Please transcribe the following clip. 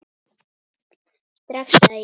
Strax, sagði ég.